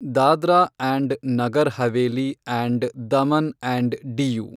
Dadra and Nagar Haveli and Daman and DU